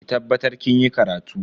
Ki tabbatar kinyi karatu.